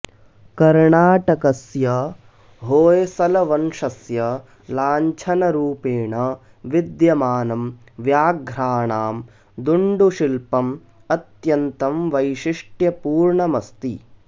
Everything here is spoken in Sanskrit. कर्णाटकस्य होय्सलवंशस्य लाञ्छनरूपेण विद्यमानं व्याघ्राणां दुण्डुशिल्पम् अत्यन्तं वैशिष्ट्यपूर्णमस्ति